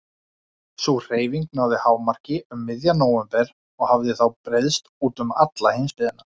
Sú hreyfing náði hámarki um miðjan nóvember og hafði þá breiðst út um alla heimsbyggðina.